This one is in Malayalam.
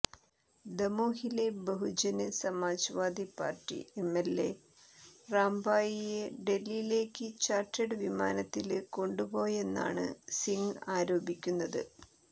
ദമോഹിലെ Bahujan Samajwadi party MLA റാംബായിയെ ഡല്ഹിയിലേക്ക് ചാര്ട്ടേഡ് വിമാനത്തില് കൊണ്ടുപോയെന്നാണ് സിങ്ങ് ആരോപിക്കുന്നത്